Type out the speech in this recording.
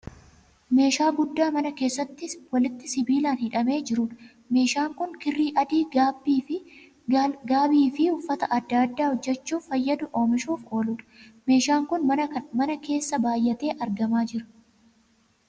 Meeshaa guddaa mana keessa walitti sibiilaan hidhamee jiruudha. Meeshaan kan kirrii adii gaabii fi uffata aadaa adda addaa hojjechuuf fayyadu oomishuuf ooluudha. Meeshaan kun mana kana keessa baay'atee argamaa jira.